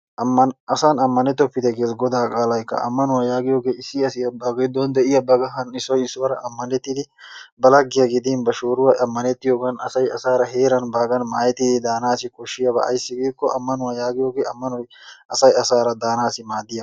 asan ammanettopite gees Goda qaalaykka, ammanuwa yaagiyooge issi asi ba giddon de'iyaa ba kahan issoy issuwaara ammanettidi ba laggiya gidin ba shooruwa ammanettiyoogan asay asaara heeran baagan maayettidi daanaw asi koshshiyaaba ayssi giiko ammanuwa yaagiyooge ammanoy asaa asaara daanassi maaddiyaaba